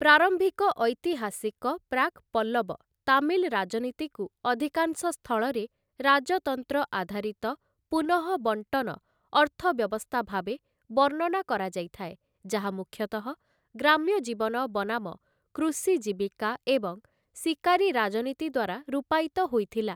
ପ୍ରାରମ୍ଭିକ ଐତିହାସିକ ପ୍ରାକ୍ ପଲ୍ଲବ ତାମିଲ ରାଜନୀତିକୁ ଅଧିକାଂଶ ସ୍ଥଳରେ 'ରାଜତନ୍ତ୍ର ଆଧାରିତ ପୁନଃବଣ୍ଟନ ଅର୍ଥବ୍ୟବସ୍ଥା' ଭାବେ ବର୍ଣ୍ଣନା କରାଯାଇଥାଏ ଯାହା ମୁଖ୍ୟତଃ ଗ୍ରାମ୍ୟଜୀବନ ବନାମ କୃଷି ଜୀବିକା ଏବଂ ଶିକାରୀ ରାଜନୀତି ଦ୍ୱାରା ରୂପାୟିତ ହୋଇଥିଲା ।